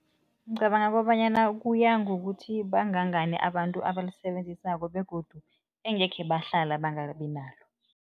Ngicabanga kobanyana kuya ngokuthi bangangani abantu abalisebenzisako begodu engekhe bahlala bangabi nalo.